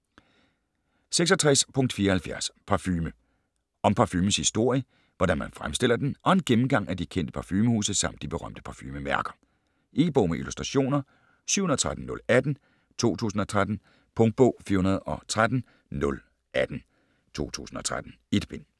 66.74 Parfume Om parfumens historie, hvordan man fremstiller den og en gennemgang af de kendte parfumehuse samt de berømte parfumemærker. E-bog med illustrationer 713018 2013. Punktbog 413018 2013. 1 bind.